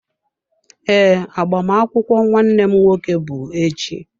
Ee, agbamakwụkwọ nwanne m nwoke bụ echi.